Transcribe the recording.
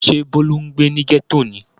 Ṣé Bólú ń gbé ní gẹ́tò ni?